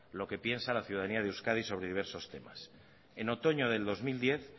lo que piensa la ciudadanía de euskadi sobre diversos temas en otoño del dos mil diez